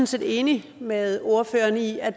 set enig med ordføreren i at